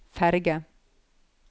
ferge